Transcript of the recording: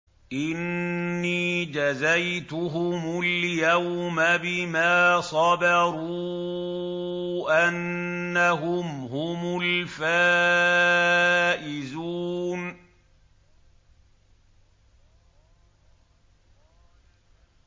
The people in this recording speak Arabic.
إِنِّي جَزَيْتُهُمُ الْيَوْمَ بِمَا صَبَرُوا أَنَّهُمْ هُمُ الْفَائِزُونَ